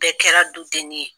Bɛɛ kɛra du deni ye.